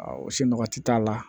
o si nɔgɔti t'a la